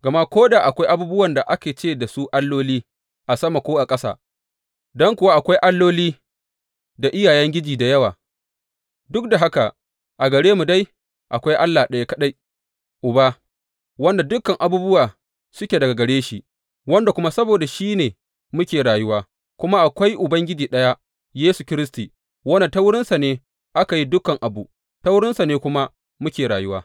Gama ko da akwai abubuwan da ake ce da su alloli, a sama ko a ƙasa don kuwa akwai alloli da iyayengiji da yawa, duk da haka a gare mu dai akwai Allah ɗaya kaɗai, Uba, wanda dukan abubuwa suke daga gare shi, wanda kuma saboda shi ne muke rayuwa, kuma akwai Ubangiji ɗaya, Yesu Kiristi, wanda ta wurinsa ne aka yi dukan abu, ta wurinsa ne kuma muke rayuwa.